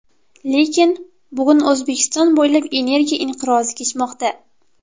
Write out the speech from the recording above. Lekin.. Bugun O‘zbekiston bo‘ylab energiya inqirozi kechmoqda.